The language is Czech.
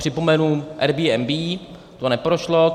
Připomenu Airbnb, to neprošlo.